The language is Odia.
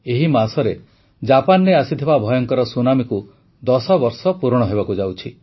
ଏହି ମାସରେ ଜାପାନରେ ଆସିଥିବା ଭୟଙ୍କର ସୁନାମୀକୁ ଦଶବର୍ଷ ପୂରଣ ହେବାକୁ ଯାଉଛି